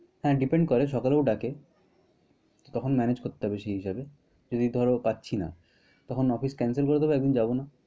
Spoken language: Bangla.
হ্যাঁ depend করে সকালেও ডাকে। তখন manage করতে হবে সে হিসেবে। যদি ধরো পারছিনা তখন office cencel করে দিব একদিন যাবো না।